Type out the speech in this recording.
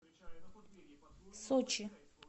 сочи